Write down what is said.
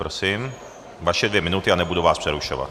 Prosím, vaše dvě minuty a nebudu vás přerušovat.